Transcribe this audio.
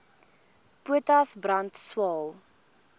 potas brand swael